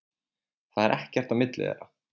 Það er ekkert á milli þeirra.